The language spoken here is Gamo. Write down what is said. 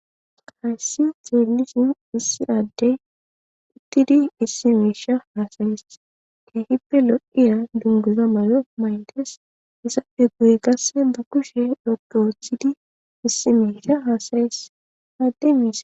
haysssi xeelisin issi addey uttidi issi meesha haasayis heehippe lo7iya dunguza mayo mayntes isappe guye qasse ba kushe loge wuthidi issi meesha haasayes adde mes